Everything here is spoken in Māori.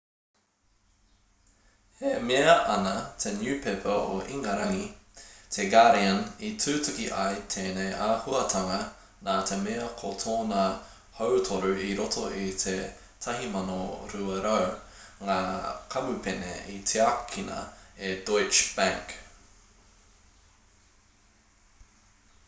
e mea ana te niupepa o ingarangi te guardian i tutuki ai tēnei āhuatanga nā te mea ko tōna hautoru i roto i te 1200 ngā kamupene i tiakina e deutsche bank